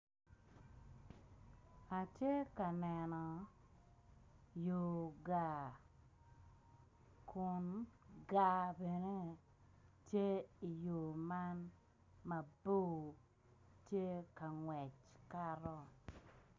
Atye ka neno yor gaa kun gaa bene tye iyor man mabor tye kangec kato.